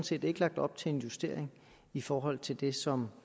set ikke lagt op til en justering i forhold til det som